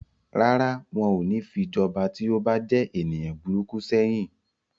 Rárá, wọn ò ní fi jọba tí ó bá jẹ́ ènìyàn burúkú sẹ́yìn.